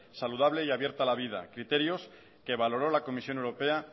saludable y abierta a la vida criterios que valoró la comisión europea